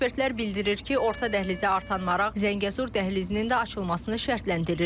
Ekspertlər bildirir ki, orta dəhlizə artan maraq Zəngəzur dəhlizinin də açılmasını şərtləndirir.